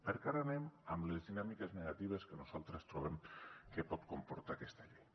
perquè ara anem amb les dinàmiques negatives que nosaltres troben que pot comportar aquesta llei